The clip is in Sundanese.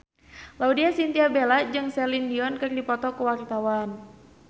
Laudya Chintya Bella jeung Celine Dion keur dipoto ku wartawan